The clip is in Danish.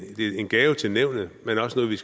en gave til nævnet men også noget vi